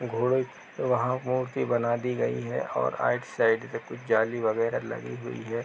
घोड़े की वहां मूर्ति बना दी गयी है और आइट साइड से कुछ जाली वगैरह लगी हुई है ।